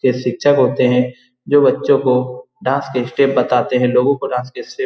के शिक्षक होते हैं। जो बच्चों को डांस के स्टेप बताते हैं। लोगो को डांस के स्टेप --